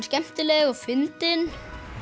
skemmtileg og fyndin